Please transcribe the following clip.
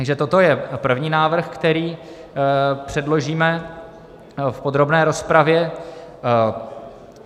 Takže toto je první návrh, který předložíme v podrobné rozpravě.